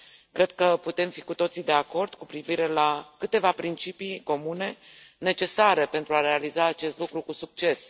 Cred că putem fi cu toții de acord cu privire la câteva principii comune, necesare pentru a realiza acest lucru cu succes.